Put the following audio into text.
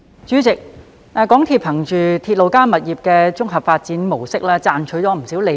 主席，港鐵公司憑"鐵路加物業發展"的綜合發展模式賺取不少利潤。